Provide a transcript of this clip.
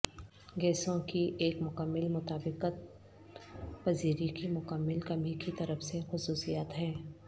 گیسوں کی ایک مکمل مطابقت پذیری کی مکمل کمی کی طرف سے خصوصیات ہیں